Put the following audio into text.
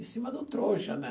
Em cima do trouxa, né?